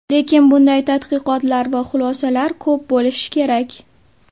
Lekin bunday tadqiqotlar va xulosalar ko‘p bo‘lishi kerak.